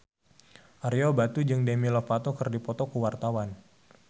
Ario Batu jeung Demi Lovato keur dipoto ku wartawan